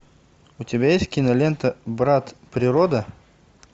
у тебя есть кинолента брат природа